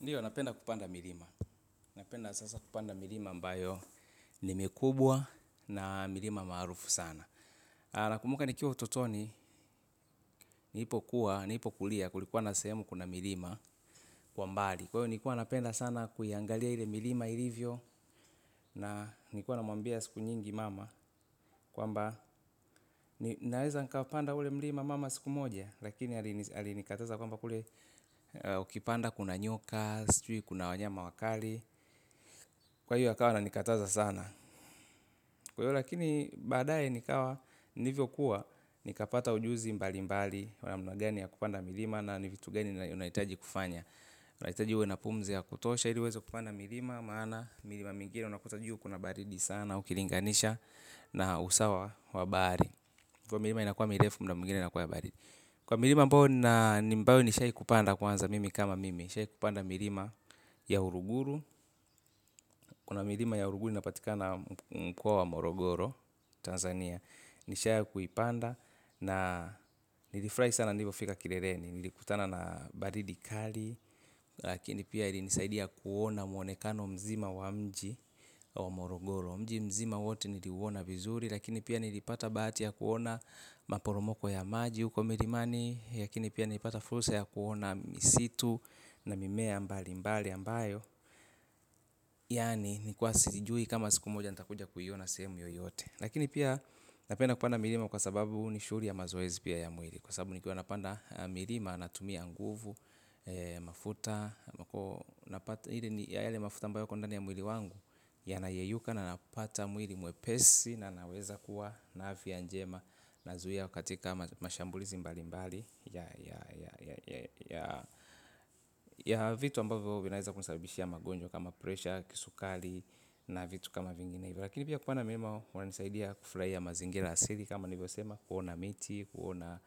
Ndio, napenda kupanda milima. Napenda sasa kupanda milima ambayo ni mikubwa, na milima maarufu sana. Nakumbuka nikiwa utotoni, nilipo kuwa, nilipo kulia, kulikuwa na sehemu kuna milima, kwa mbali. Kwa hiyo, nilikuwa napenda sana kuiangalia ile milima ilivyo na nilikuwa namwambia siku nyingi mama kwamba, naweza nikaupanda ule milima mama siku moja? Lakini alinikataza kwamba kule ukipanda kuna nyoka, sijui kuna wanyama wakali. Kwa hiyo, akawa ana nikataza sana. Kwa hiyo lakini, baadaye nikawa, nilivyo kua nikapata ujuzi mbali mbali, wa namna gani ya kupanda milima na ni vitu gani unahitaji kufanya. Unahitaji uwe na pumzi ya kutosha ili uweze kupanda milima maana, milima mingine unakuta juu kuna baridi sana ukilinganisha na usawa wa bahari. Kwa hivyo milima inakuwa mirefu muda mwingine inakuwa ya baridi. Kwa milima ambayo nina Ambato nishai kupanda kwanza mimi kama mimi. Nishai kupanda milima ya Uruguru. Kuna milima ya Uruguru inapatikana mkoa wa Morogoro, Tanzania, nishai kuipanda, na nilifurahi sana nilipofika kileleni. Nilikutana na baridi kali lakini pia ilinisaidia kuona mwonekano mzima wa mji wa morogoro. Mji mzima wote niliuona vizuri, lakini pia nilipata bahati ya kuona maporomoko ya maji huko milimani, lakini pia nilipata fursa ya kuona misitu na mimea mbali mbali ambayo yaani nilikuwa sijui kama siku moja nitakuja kuiona sehemu yoyote. Lakini pia, napenda kupanda milima kwa sababu ni shughli ya mazoezi pia ya mwili, kwa sababu nikiwa napanda milima, natumia nguvu, mafuta ile ni yale mafuta ambayo yako ndani ya mwili wangu. Yanayeyuka na kupata mwili mwepesi na naweza kuwa na afya njema, inazuia katika mashambulizi mbalimbali ya ya vitu ambavyo vinaweza kusabibishia magonjwa kama presha, kisukari na vitu kama vinginevyo. Lakini pia kupanda milima huwa kunanisaidia kufurahia mazingira asili kama nilivyo sema kuona miti, kuona